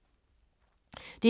DR2